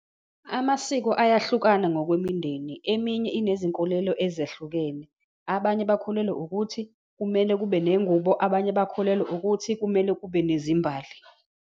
Amasiko ayahlukana ngokwemindeni, eminye inezinkolelo ezahlukene. Abanye bakholelwa ukuthi kumele kube nengubo, abanye bakholelwa ukuthi kumele kube nezimbali.